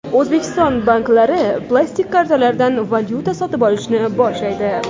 O‘zbekiston banklari plastik kartalardan valyuta sotib olishni boshlaydi.